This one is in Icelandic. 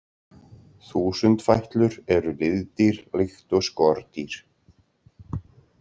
Þúsundfætlur eru liðdýr líkt og skordýr.